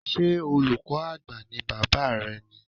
Ṣé olùkọ́ Àgbà ní Bàbá rẹ ni?